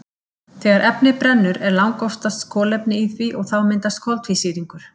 Þegar efni brennur er langoftast kolefni í því og þá myndast koltvísýringur.